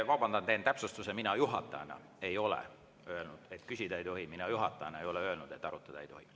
Vabandan, teen täpsustuse: mina juhatajana ei ole öelnud, et küsida ei tohi, mina juhatajana ei ole öelnud, et arutada ei tohi.